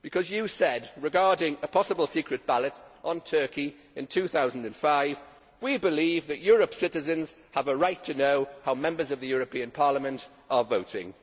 You said regarding a possible secret ballot on Turkey in 2005 we believe that Europe's citizens have a right to know how Members of the European Parliament are voting'.